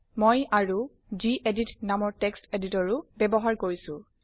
মই আৰু গেদিত নামৰ টেক্সট এডিটৰ ও ব্যৱহাৰ কৰিছো